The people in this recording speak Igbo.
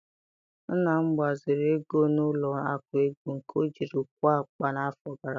Nna m gbaziri ego n'ụlọ akụ ego nke ọjiri kụọ akpu n'afọ gara aga